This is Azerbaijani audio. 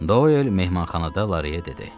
Doyl mehmanxanada Lareyə dedi.